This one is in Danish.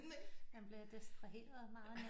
Man bliver distraheret meget